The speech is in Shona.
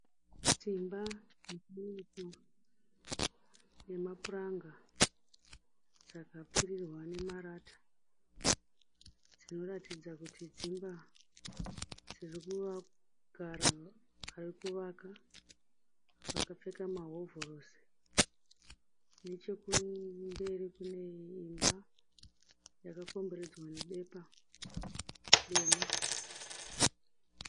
Dzimba zhinji dzemapuranga dzakapfirirwa nemarata dzinoratidza kuti dzimba dziri kugara vari kuvaka vakapfeka mahovhorosi. Nechekumberi kune imba yakakomberedzwa nebepa dema.